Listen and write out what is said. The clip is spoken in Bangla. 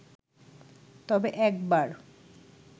তবে একবার